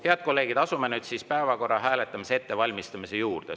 Head kolleegid, asume nüüd päevakorra hääletamise ettevalmistamise juurde.